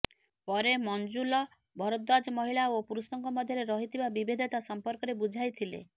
ପରେ ମଞ୍ଜୁଲ ଭରଦ୍ବାଜ ମହିଳା ଓ ପୁରୁଷଙ୍କ ମଧ୍ୟରେ ରହିଥିବା ବିଭେଦତା ସଂପର୍କରେ ବୁଝାଇଥିଲେ